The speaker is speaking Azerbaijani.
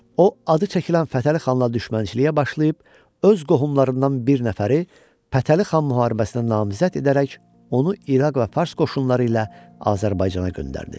O adı çəkilən Fətəli xanla düşmənçiliyə başlayıb, öz qohumlarından bir nəfəri Fətəli xan müharibəsinə namizəd edərək onu İraq və Fars qoşunları ilə Azərbaycana göndərdi.